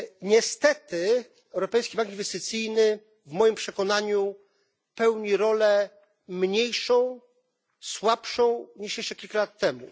Niestety Europejski Bank Inwestycyjny w moim przekonaniu pełni rolę mniejszą, słabszą niż jeszcze kilka lat temu.